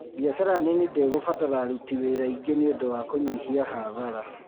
Biacara nini ndĩkũbatara aruti wĩra aingĩ nĩũndũ wa kũnyihia hathara